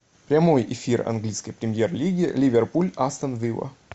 прямой эфир английской премьер лиги ливерпуль астон вилла